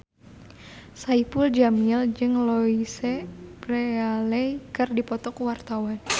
Saipul Jamil jeung Louise Brealey keur dipoto ku wartawan